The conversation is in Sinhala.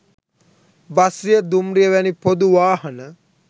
බස්රිය, දුම්රිය වැනි පොදු වාහන